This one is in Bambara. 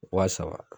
Wa saba